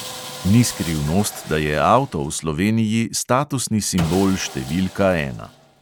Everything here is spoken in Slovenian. Ni skrivnost, da je avto v sloveniji statusni simbol številka ena.